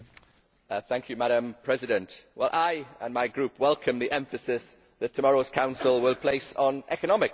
Madam President, I and my group welcome the emphasis that tomorrow's Council will place on economic matters.